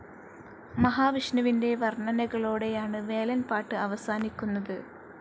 മഹാവിഷ്ണുവിന്റെ വർണ്ണനകളോടെയാണ് വേലൻ പാട്ട് അവസാനിക്കുന്നത്.